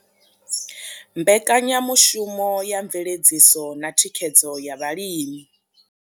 Mbekanyamushumo ya mveledziso na thikhedzo ya vhalimi.